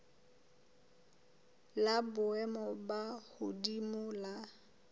la boemo bo hodimo la